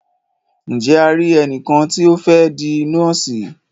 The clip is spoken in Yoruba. Ǹje a ri ẹnìkan tí o fẹ́ di nọ́ọ̀sì?